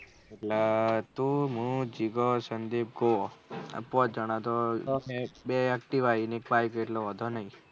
એટલે ત હું જીગો સંદીપ ઘો આ પોંચ જના તો બે activa આયી ને એક bike એટલે વાંધો નહી.